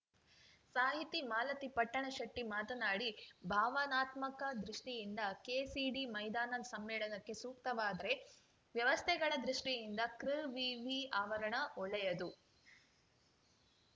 ಸಾಹಿತಿ ಮಾಲತಿ ಪಟ್ಟಣಶೆಟ್ಟಿಮಾತನಾಡಿ ಭಾವನಾತ್ಮಕ ದೃಷ್ಟಿಯಿಂದ ಕೆಸಿಡಿ ಮೈದಾನ ಸಮ್ಮೇಳನಕ್ಕೆ ಸೂಕ್ತವಾದರೆ ವ್ಯವಸ್ಥೆಗಳ ದೃಷ್ಟಿಯಿಂದ ಕೃವಿವಿ ಆವರಣ ಒಳ್ಳೆಯದು